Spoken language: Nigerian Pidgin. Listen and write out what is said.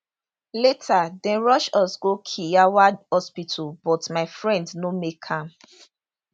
later dem rush us go kiyawa hospital but my friend no make am